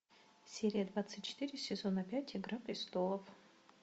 серия двадцать четыре сезона пять игра престолов